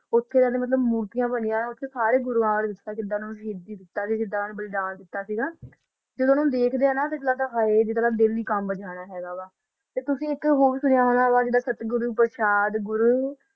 ਓਥ ਨਾ ਮੂਰਤੀਆ ਬਣਿਆ ਨਾ ਓਥ ਜਾ ਕਾ ਨਾ ਬੋਹਤ ਸਾਰਾ ਗੁਰ੍ਵਾਦਾ ਨਾ ਓਥ ਨਾ ਬਾਰਾ ਦਲ ਬਲਦਾ ਨਾ ਜਦੋ ਓਨਾ ਨੂ ਦਾਖ ਦਾ ਨਾ ਓਨਾ ਓਦੋ ਨਾ ਦਿਲ ਹੀ ਕਮਬ ਜਾਂਦਾ ਆ ਤਾ ਤੁਸੀਂ ਏਕ ਹੋਰ ਸੁਣਿਆ ਹੋਵਾ ਗਾ ਸੇਟ ਗੁਰੋ ਪਰ੍ਸ਼ਤ